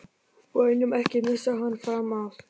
BÆNUM, EKKI MISSA HANN FRAM AF!